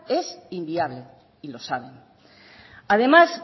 es inviable y lo saben además